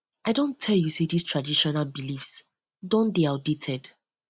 i don tell you sey dis traditional dis traditional beliefs don dey outdated